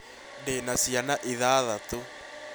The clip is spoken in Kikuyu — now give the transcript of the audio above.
ndĩ na ciana ĩthathatũ